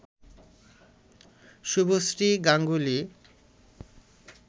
Subhashree Ganguly